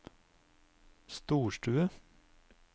storstue